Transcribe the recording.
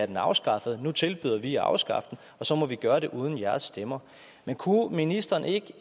den afskaffet nu tilbyder vi at afskaffe den og så må vi gøre det uden jeres stemmer men kunne ministeren ikke